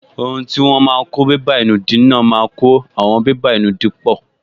Ohun tí wọ́n máa n kó bébà ìnùdí náà máa kó àwọn bébà ìnùdí pọ̀